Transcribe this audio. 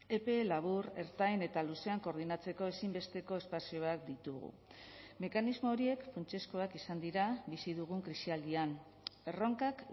epe labur ertain eta luzean koordinatzeko ezinbesteko espazioak ditugu mekanismo horiek funtsezkoak izan dira bizi dugun krisialdian erronkak